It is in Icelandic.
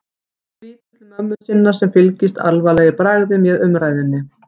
Hún lítur til mömmu sinnar sem fylgist alvarleg í bragði með umræðunni.